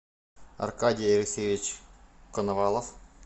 аркадий алексеевич коновалов